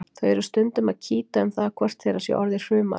Þau eru stundum að kýta um það hvort þeirra sé orðið hrumara.